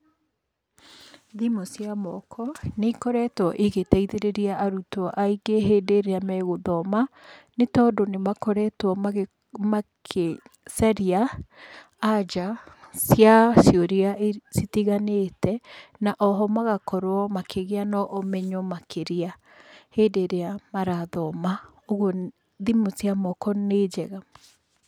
Thimũ cia moko, nĩikoretwo igĩtaithĩrĩria arutwo aingĩ hĩndĩ ĩrĩa megũthoma, nĩtondũ nĩmakoretwo magĩcaria anja cia ciũria citiganĩte, na oho magakorwo makĩgĩa na ũmenyo makĩria hĩndĩ ĩrĩa marathoma, ũguo thimũ cia moko nĩ njega.